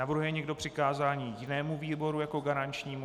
Navrhuje někdo přikázání jinému výboru jako garančnímu?